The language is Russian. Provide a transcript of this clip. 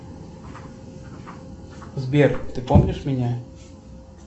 сбер ты помнишь меня